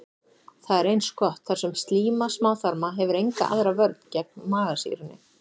Það er eins gott, þar sem slíma smáþarma hefur enga aðra vörn gegn magasýrunni.